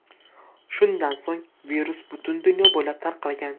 Shundan so‘ng virus butun dunyo bo‘ylab tarqalgan.